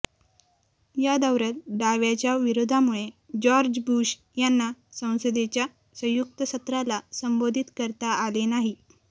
या दौऱ्यात डाव्याच्या विरोधामुळे जॉर्ज बुश यांना संसदेच्या संयुक्त सत्राला संबोधित करता आले नाही